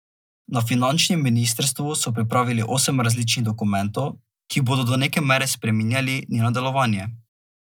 Na finančnem ministrstvu so pripravili osem različnih dokumentov, ki bodo do neke mere spreminjali njeno delovanje.